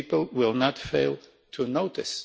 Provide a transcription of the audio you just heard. The people will not fail to notice.